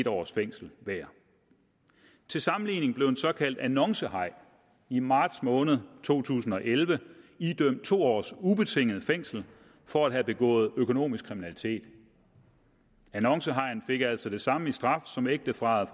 års fængsel hver til sammenligning blev en såkaldt annoncehaj i marts måned to tusind og elleve idømt to års ubetinget fængsel for at have begået økonomisk kriminalitet annoncehajen fik altså det samme i straf som ægteparret